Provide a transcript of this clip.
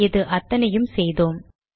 இது அத்தனையும் செய்தோம்